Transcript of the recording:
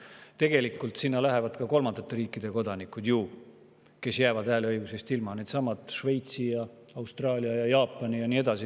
Tegelikult sinna lähevad ka kolmandate riikide kodanikud, ei saaks hääletada, needsamad Šveitsi, Austraalia, Jaapani ja.